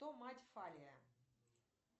кто мать фалия